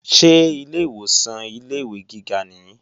Ṣé ilé ìwòsàn ilé-ìwé gíga nìí?